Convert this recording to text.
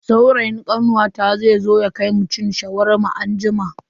Saurayin kawata zai zo ya kai mu cin Shawarma anjima.